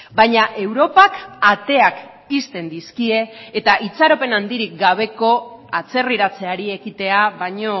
baina europak ateak ixten dizkie eta itxaropen handirik gabeko atzerriratzeari ekitea baino